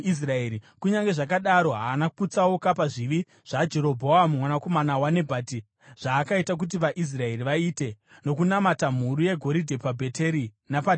Kunyange zvakadaro, haana kutsauka pazvivi zvaJerobhoamu mwanakomana waNebhati, zvaakaita kuti vaIsraeri vaite, nokunamata mhuru yegoridhe paBheteri napaDhani.